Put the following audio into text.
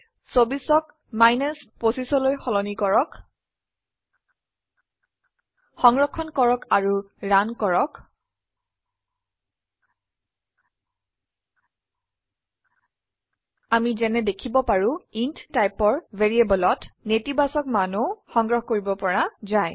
২৪অক ২৫লৈ সলনি কৰক সংৰক্ষণ কৰক আৰু ৰান কৰক আমি যেনে দেখিব পাৰো ইণ্ট টাইপৰ ভ্যাৰিয়েবলত নেতিবাচক মানও সংগ্ৰহ কৰিব পৰা যায়